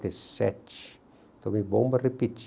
sete. Tomei bomba, repeti.